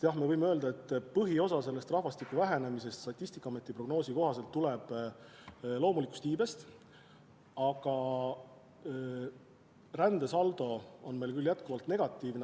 Jah, me võime öelda, et põhiosas tuleneb rahvastiku vähenemine Statistikaameti prognoosi kohaselt loomulikust iibest, aga ka rändesaldo on meil jätkuvalt negatiivne.